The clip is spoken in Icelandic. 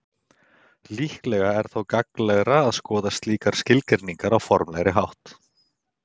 líklega er þó gagnlegra að skoða slíkar skilgreiningar á formlegri hátt